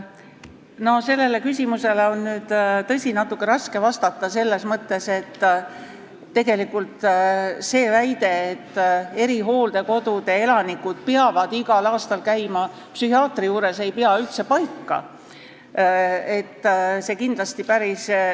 No sellele küsimusele on, tõsi, natuke raske vastata, selles mõttes, et see väide, nagu erihooldekodude elanikud peaksid igal aastal psühhiaatri juures käima, ei pea üldse paika.